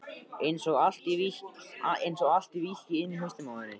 Einsog allt víkki inni í hausnum á henni.